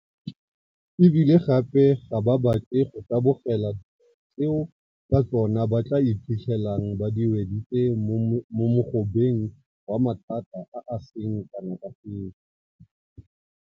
E bile gape ga ba batle go tabogela dilo tseo ka tsona ba tla iphitlhelang di ba weditse mo mogobeng wa mathata a a seng kana ka sepe.